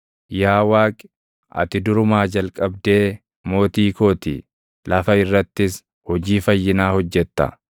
Yaa Waaqi, ati durumaa jalqabdee mootii koo ti; lafa irrattis hojii fayyinaa hojjetta.